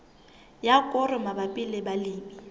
ya koro mabapi le balemi